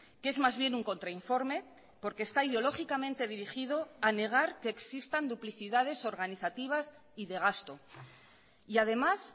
que es más bien un contrainforme porque está ideológicamente dirigido a negar que existan duplicidades organizativas y de gasto y además